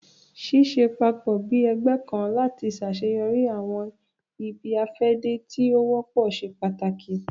Ṣiṣẹ papọ bi ẹgbẹ kan lati ṣaṣeyọri awọn ibi-afẹde ti o wọpọ ṣe pàtàkì